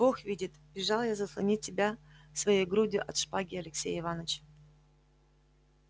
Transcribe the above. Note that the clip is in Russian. бог видит бежал я заслонить тебя своею грудью от шпаги алексея иваныча